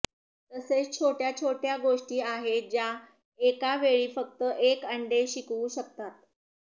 तसेच छोट्या छोट्या गोष्टी आहेत ज्या एका वेळी फक्त एक अंडे शिकवू शकतात